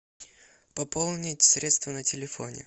пополнить средства на телефоне